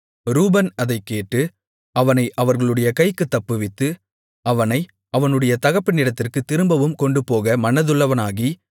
ரூபன் அதைக்கேட்டு அவனை அவர்களுடைய கைக்குத் தப்புவித்து அவனை அவனுடைய தகப்பனிடத்திற்குத் திரும்பவும் கொண்டுபோக மனதுள்ளவனாகி